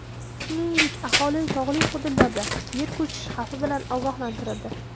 Shuningdek, aholi tog‘li hududlarda yer ko‘chishi xavfi bilan ogohlantirildi.